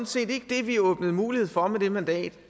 set ikke det vi åbnede mulighed for med det mandat